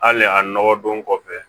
Hali a nɔgɔ don kɔfɛ